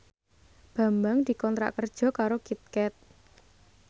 Bambang dikontrak kerja karo Kit Kat